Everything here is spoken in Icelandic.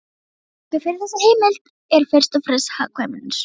Rökin fyrir þessari heimild eru fyrst og fremst hagkvæmnisrök.